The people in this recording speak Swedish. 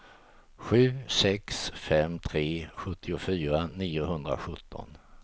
sju sex fem tre sjuttiofyra niohundrasjutton